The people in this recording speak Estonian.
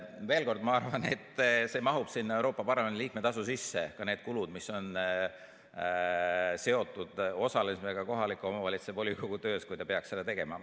Veel kord: ma arvan, et see mahub sinna Euroopa Parlamendi liikme tasu sisse, ka need kulud, mis on seotud osalemisega kohaliku omavalitsuse volikogu töös, kui ta peaks seda tegema.